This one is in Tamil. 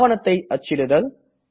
ஆவணத்தை அச்சிடுதல்